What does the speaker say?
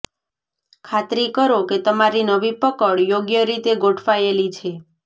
ખાતરી કરો કે તમારી નવી પકડ યોગ્ય રીતે ગોઠવાયેલી છે